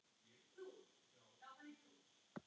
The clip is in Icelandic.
Síðustu ráðin geymi ég.